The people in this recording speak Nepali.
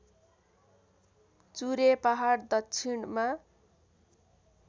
चुरे पहाड दक्षिणमा